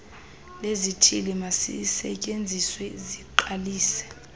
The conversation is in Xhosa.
lezithili mazisetyenziswe ziqalise